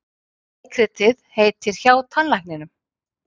Leikritið heitir HJÁ TANNLÆKNINUM.